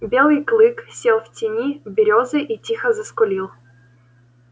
белый клык сел в тени берёзы и тихо заскулил